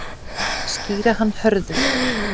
Skýra hann Hörður.